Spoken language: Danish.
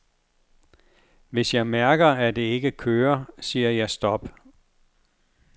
Hvis jeg mærker, at det ikke kører, siger jeg stop.